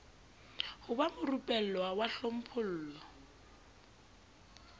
ho ba morupellwa wa hlophollo